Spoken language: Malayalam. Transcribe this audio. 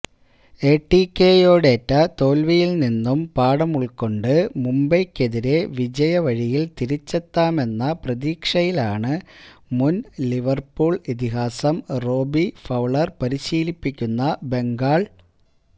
എടിക്കെയോടേറ്റ തോല്വിയില് നിന്നും പാഠമുള്ക്കൊണ്ട് മുംബൈയ്ക്കെതിരേ വിജയവഴിയില് തിരിച്ചെത്താമെന്ന പ്രതീക്ഷയിലാണ് മുന് ലിവര്പൂള് ഇതിഹാസം റോബി ഫൌളര് പരിശീലിപ്പിക്കുന്ന ബംഗാള്